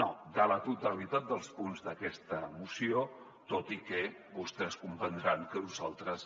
no de la totalitat dels punts d’aquesta moció tot i que vostès deuran comprendre que nosaltres